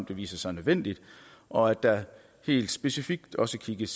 det viser sig nødvendigt og at der helt specifikt også kigges